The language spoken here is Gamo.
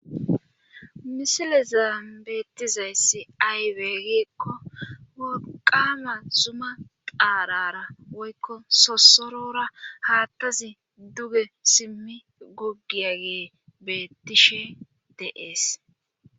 Misile zaan beettizayssi aywegeekko woqama zuma xaarara woykko sosorora haattazi duge simmi guggiyagee bettishe dees.